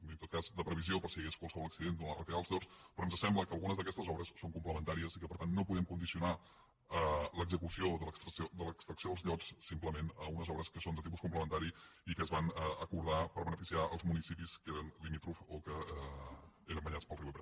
i en tot cas de previsió per si hi hagués qualsevol accident durant la retirada dels llots però ens sembla que algunes d’aquestes obres són complementàries i que per tant no podem condicionar l’execució de l’extracció dels llots simplement a unes obres que són de tipus complementari i que es van acordar per beneficiar els municipis que eren limítrofs o que eren banyats pel riu ebre